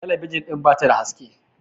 tabijin din ba ta da haske